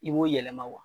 I b'o yɛlɛma